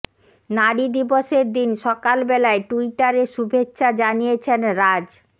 নারী দিবসের দিন সকাল বেলায় টুইটারে শুভেচ্ছা জানিয়েছেন রাজ